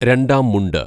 രണ്ടാം മുണ്ട്